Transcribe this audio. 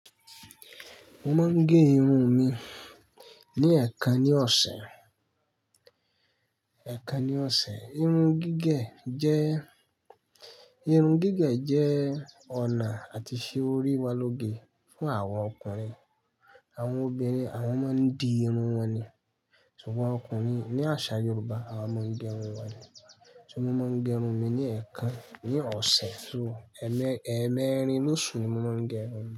Mo máa ń gẹ irun mi ní ẹ̀ẹ̀kan ní ọ̀sẹ̀. Ẹ̀ẹ̀kan ní ọ̀sẹ̀. Irun gígẹ̀ jẹ́, irun gígẹ̀ jẹ́ ọ̀nà àti ṣe òri wá lóge fún àwa ọkùnrin. Àwọn obìnrin àwọn máa ń dì irun wọn ni. Ṣùgbọ́n ọkùnrin ní àṣà Yorùbá, àwa máa ń gẹ irun wa ni. Mo ma ń gẹ irun mi ni ẹkan ni ọ̀sẹ̀, ẹ mẹ́rin losu ni mo ma ń gẹ irun.